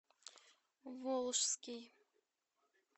волжский